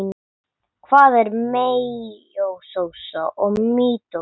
Hvað er meiósa og mítósa?